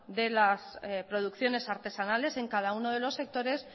de las producciones artesanales en cada uno de los sectores